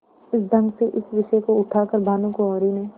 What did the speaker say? इस ढंग से इस विषय को उठा कर भानुकुँवरि ने